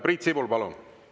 Priit Sibul, palun!